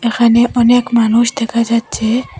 এখানে অনেক মানুষ দেখা যাচ্ছে।